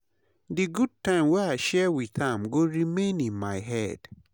Di good time wey i share with am go remain in my head.